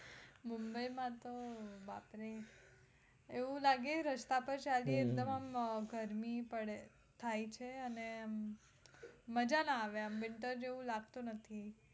મુંબઈ માં તો બાપરે રસ્તા પાર ચાલીયે તો એકદમ આમ ગરમી થાય છે અને મજ્જા ના પડે winter જેવું લાગતું નથી